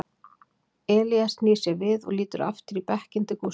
Elías snýr sér við og lítur aftur í bekkinn til Gústa.